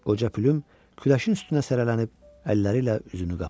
Qoca Plym küləşin üstünə sərələnib əlləri ilə üzünü qapadı.